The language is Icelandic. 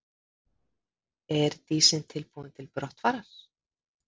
Er Dísin tilbúin til brottfarar?